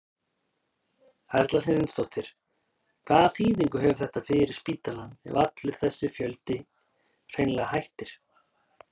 Erla Hlynsdóttir: Hvaða þýðingu hefur þetta fyrir spítalann ef allur þessi fjöldi hreinlega hættir?